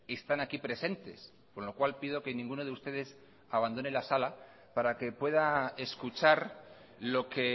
están aquí presentes con lo cual pido que ninguno de ustedes abandone la sala para que pueda escuchar lo que